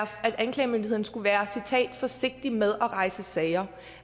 anklagemyndigheden skulle være forsigtig med at rejse sager